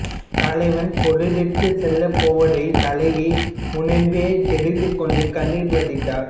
தலைவன் பொருளீட்டச் செல்லப்போவதைத் தலைவி முனபே தெரிந்துகொண்டு கண்ணீர் வடித்தாள்